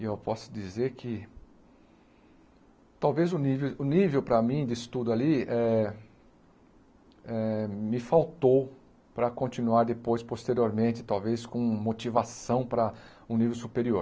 E eu posso dizer que talvez o nível o nível para mim de estudo ali eh eh me faltou para continuar depois, posteriormente, talvez com motivação para um nível superior.